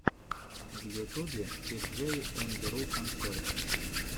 в ютубе тиджей энд ру концерт